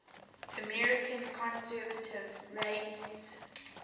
american conservative rabbis